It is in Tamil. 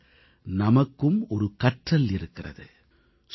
இதில் நமக்கும் ஒரு கற்றல் இருக்கிறது